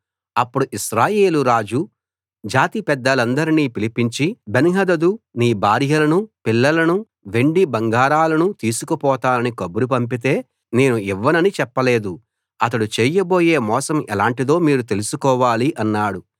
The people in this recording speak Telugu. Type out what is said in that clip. అప్పుడు ఇశ్రాయేలు రాజు జాతి పెద్దలందర్నీ పిలిపించి బెన్హదదు నీ భార్యలనూ పిల్లలనూ వెండి బంగారాలనూ తీసుకుపోతానని కబురు పంపితే నేను ఇవ్వనని చెప్పలేదు అతడు చేయబోయే మోసం ఎలాంటిదో మీరు తెలుసుకోవాలి అన్నాడు